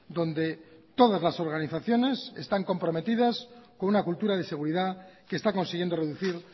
donde todas las organizaciones están comprometidas con una cultura de seguridad que está consiguiendo reducir